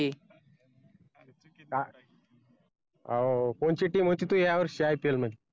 हो कोणती team होती तुझी यावर्षी IPL मध्ये